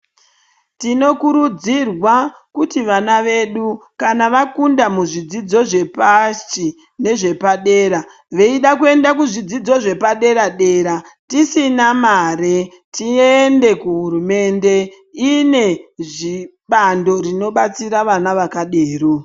Tinokurudzirwawo kuti vana vedu kana vafunda muzvidzidzo zvepashi nezvepadera veida kuenda muzvidzidzo zvepadera dera tisina mare tiende kuhurumende ine bando rinobatsira vana vakadero.